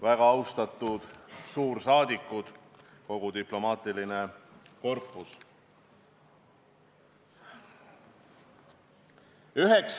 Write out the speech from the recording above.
Väga austatud suursaadikud ja kogu diplomaatiline korpus!